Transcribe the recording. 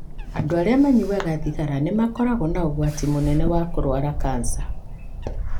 Andũ arĩa manyuaga thigara nĩ makoragwo na ũgwati mũnene wa kũrũara kanca.